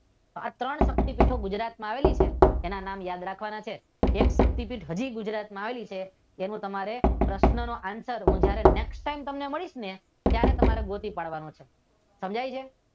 આ ત્રણ શક્તીપીઠ ગુજરાતમાં આવેલી છે તેના નામ યાદ રાખવાના છે હજુ એક શકતી પીઠ હજુ ગુજરાતમાં આવેલી છે તેના પ્રશ્નો નો આન્સર હું જ્યારે નેક્સ્ટ ટાઈમ તમને મળીશ ત્યારે ગોતી પાડવાનો છે.